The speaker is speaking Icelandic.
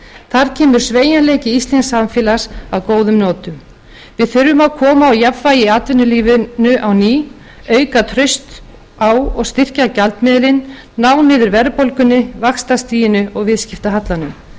þar kemur sveigjanleiki íslensks samfélags að góðum notum við þurfum að koma á jafnvægi í atvinnulífinu á ný auka traust á og styrkja gjaldmiðilinn ná niður verðbólgunni vaxtastiginu og viðskiptahallanum